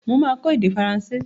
Mo máa kọ èdè faransé.